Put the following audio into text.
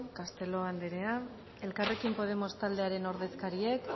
castelo jauna elkarrekin podemos taldearen ordezkariak